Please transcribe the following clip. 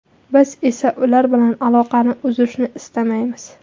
Biz esa ular bilan aloqani uzishni istamaymiz.